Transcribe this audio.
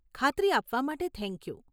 ખાતરી આપવા માટે થેન્ક યુ.